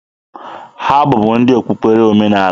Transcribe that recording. Ha bụbu ndị okpukpere omenaala.